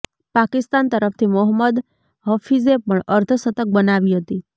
પાકિસ્તાન તરફથી મોહમ્મદ હફિઝે પણ અર્ધશતક બનાવી હતી